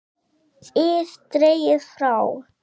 ið dregið frá.